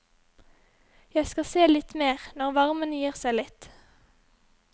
Jeg skal se litt mer, når varmen gir seg litt.